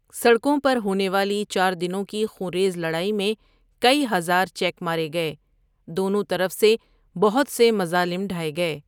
سڑکوں پر ہونے والی چار دنوں کی خونریز لڑائی میں کئی ہزار چیک مارے گئے، دونوں طرف سے بہت سے مظالم ڈھائے گئے۔